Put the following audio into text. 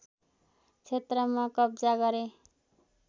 क्षेत्रमा कब्जा गरे